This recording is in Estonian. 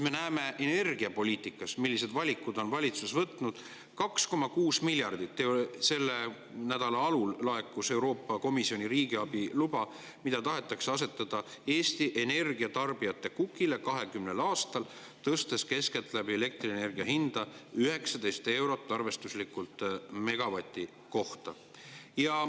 Me näeme, millise valiku on valitsus energiapoliitikas: 2,6 miljardit – selle nädala alul laekus Euroopa Komisjoni riigiabiluba – tahetakse asetada Eesti energiatarbijate kukile 20 aastaks, tõstes elektrienergia hinda keskeltläbi 19 eurot arvestuslikult megavati kohta.